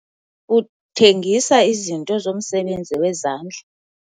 Uthengisa izinto zomsebenzi wezandla.